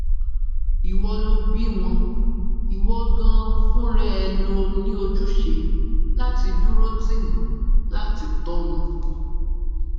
ìwọ lo bí wọn ìwo ganan fúnra ẹ ló ní ojúṣe láti dúró tì wọn láti tò wọn